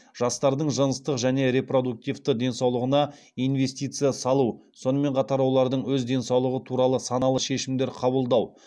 жастардың жыныстық және репродуктивті денсаулығына инвестиция салу сонымен қатар олардың өз денсаулығы туралы саналы шешімдер қабылдау